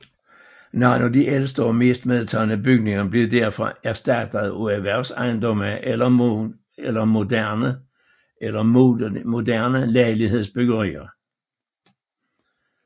Nogle af de ældste og mest medtagne bygninger blev derfor erstattet af erhvervsejendomme eller moderne lejlighedsbyggerier